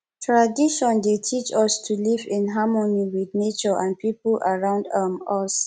tradition dey teach us to live in harmony with nature and people around um us